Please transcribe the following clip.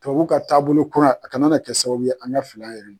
Tubabuw ka taabolo kura a kana na kɛ sababu ye an ka fili an yɛrɛ ma.